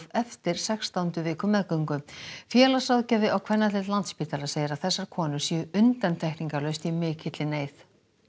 eftir sextándu viku meðgöngu félagsráðgjafi á kvennadeild Landspítala segir að þessar konur séu undantekningalaust í mikilli neyð